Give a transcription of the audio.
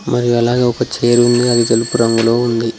మరి అలాగే ఒక చేర్ ఉంది అది తెలుపు రంగులో ఉంది.